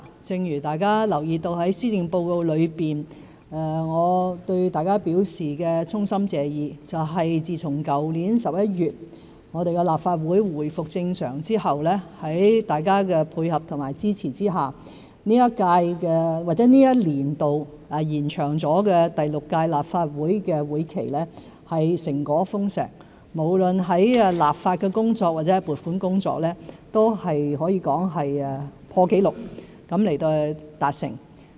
正如在施政報告內，我對大家表示衷心謝意，自從去年11月立法會回復正常後，在大家的配合和支持下，這一年度經延長的第六屆立法會會期成果豐碩，無論在立法或是撥款工作，也可以說是破紀錄地達成。